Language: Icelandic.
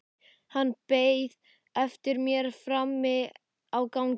Hann beið eftir mér frammi á gangi.